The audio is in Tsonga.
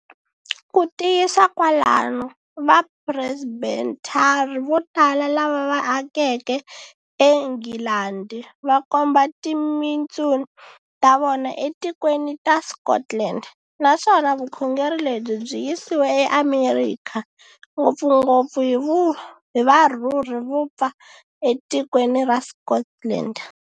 Kutiyisa kwalano, va Presbethari votala lava va akeke eNghilandi va komba timintsun ta vona etikweni ta Scotland, naswona vukhongeri lebyi byi yisiwe eAmerikha, ngopfungopfu hi varhurhi vopfa e tikweni ra Scotland.